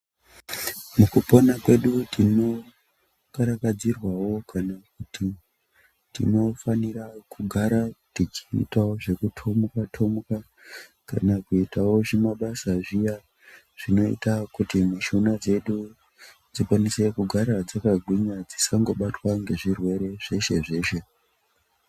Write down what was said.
Muku pona kwedu tino karakadzirwawo kana kuti tinofanira kugara tichi itawo zveku tomuka tomuka kana kuitawo zvima basa zviya zvinoita kuti mishuna dzedu dzikwanise kugara dzaka gwinya dzisango batwa ne zvirwere zveshe zveshe.